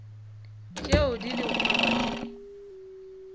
tšeo di lego mabapi le